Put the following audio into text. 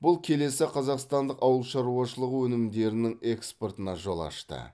бұл келесі қазақстандық ауыл шаруашылығы өнімдерінің экспортына жол ашты